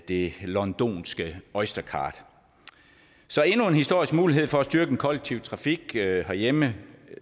det londonske oystercard så endnu en historisk mulighed for at styrke den kollektive trafik herhjemme